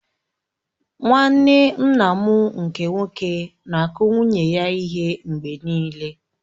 Nwanne nna m nke nwoke na-akụ nwunye ya ihe mgbe nịịle.